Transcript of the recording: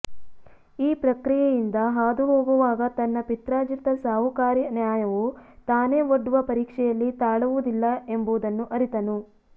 ಈ ಪ್ರಕ್ರಿಯೆಯಿಂದ ಹಾದು ಹೋಗುವಾಗ ತನ್ನ ಪಿತ್ರಾರ್ಜಿತ ಸಾಹುಕಾರಿ ನ್ಯಾಯವು ತಾನೇ ಒಡ್ಡುವ ಪರೀಕ್ಷೆಯಲ್ಲಿ ತಾಳುವದಿಲ್ಲ ಎಂಬುದನ್ನು ಅರಿತನು